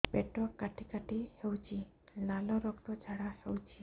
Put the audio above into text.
ପେଟ କାଟି କାଟି ହେଉଛି ଲାଳ ରକ୍ତ ଝାଡା ହେଉଛି